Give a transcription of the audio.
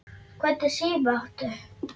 Hvernig síma áttu?